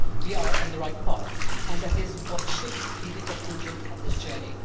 We are on the right path, and that should be the conclusion of this journey.